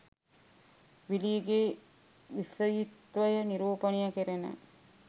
විලීගේ විෂයීත්වය නිරූපණය කෙරෙන